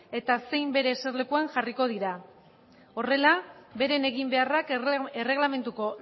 eta zein bere eserlekuan jarriko dira horrela beren eginbeharrak erregelamenduko